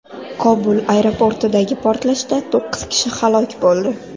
Kobul aeroportidagi portlashda to‘qqiz kishi halok bo‘ldi.